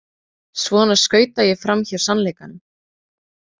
Svona skauta ég framhjá sannleikanum.